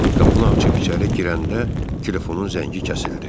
Qapını açıb içəri girəndə telefonun zəngi kəsildi.